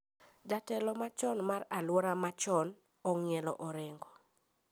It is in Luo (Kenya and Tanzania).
Jatelo ma chon mar aluora machon ong`ielo orengo